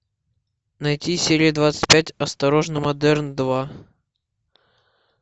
найти серию двадцать пять осторожно модерн два